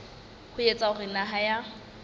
ho etsa hore naha ya